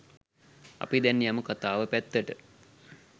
අපි දැන් යමු කථාව පැත්තට